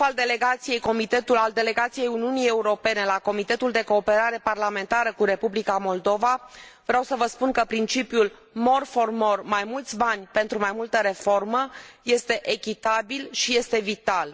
Ca șef al delegației Uniunii Europene la Comitetul de cooperare parlamentară cu Republica Moldova vreau să vă spun că principiul more for more mai mulți bani pentru mai multă reformă este echitabil și este vital.